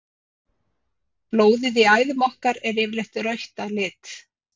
Blóðið í æðum okkar er yfirleitt rautt að lit.